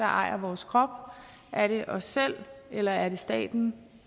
ejer vores krop er det os selv eller er det staten